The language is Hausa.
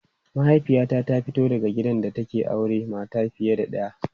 Mahaifiyata ta fito daga gidan da aka auri mata fiye da ɗaya.